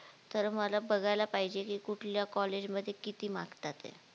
तर मला बघायला पाहिजे की कुठल्या college मध्ये किती मागतातेत